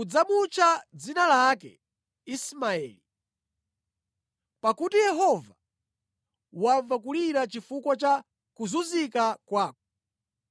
Udzamutcha dzina lake Ismaeli, pakuti Yehova wamva kulira chifukwa cha kuzunzika kwako.